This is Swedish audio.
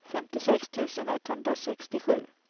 femtiosex tusen etthundrasextiosju